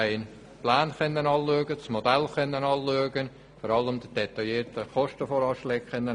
Wir konnten die Pläne, das Modell und vor allem die detaillierten Kostenvoranschläge einsehen.